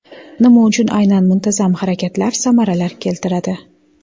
Nima uchun aynan muntazam harakatlar samaralar keltiradi?.